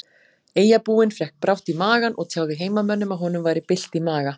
Eyjabúinn fékk brátt í magann og tjáði heimamönnum að honum væri bylt í maga.